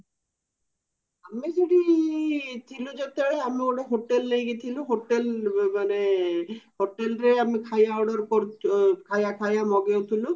ଆମେ ସେଠି ଥିଲୁ ଯେତେବେଳେ ଆମେ ଗୋଟେ hotel ନେଇକି ଥିଲୁ hotel ମାନେ hotelre ଆମେ ଖାଇବା order ଖାଇବା ଖାଇବ ମଗଉଥିଲୁ